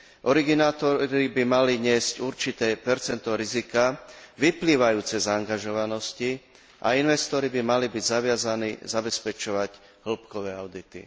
Originátori by mali niesť určité percento rizika vyplývajúce z angažovanosti a investori by mali byť zaviazaní zabezpečovať hĺbkové audity.